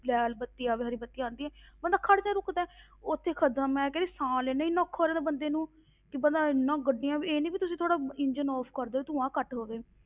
ਲਾਲ ਬੱਤੀ ਆਵੇ ਹਰੀ ਬੱਤੀ ਆਉਂਦੀ ਹੈ ਬੰਦਾ ਖੜਦਾ ਰੁਕਦਾ ਹੈ ਉੱਥੇ ਖੜ ਜਾ, ਮੈਂ ਕਹਿ ਰਹੀ ਸਾਹ ਲੈਣਾ ਇੰਨਾ ਔਖਾ ਹੋ ਜਾਂਦਾ ਬੰਦੇ ਨੂੰ ਕਿ ਬੰਦਾ ਇੰਨਾ ਗੱਡੀਆਂ ਵੀ ਇਹ ਨੀ ਵੀ ਤੁਸੀਂ ਥੋੜ੍ਹਾ ਇੰਜਣ off ਕਰ ਦੇਵੋ ਧੂੰਆ ਘੱਟ ਹੋਵੇ।